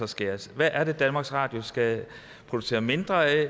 skæres hvad er det danmarks radio skal producere mindre af